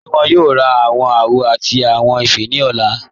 Ṣé wọn yóò rá awọn àwò àti awọn ifẹ́ ni ọ̀lá?